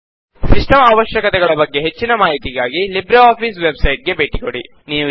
system ಅವಶ್ಯಕತೆಗಳ ಬಗ್ಗೆ ಹೆಚ್ಚಿನ ಮಾಹಿತಿಗಾಗಿ ಲಿಬ್ರೆ ಆಫಿಸ್ ವೆಬ್ ಸೈಟ್ ಗೆ ಭೇಟಿ ಕೊಡಿ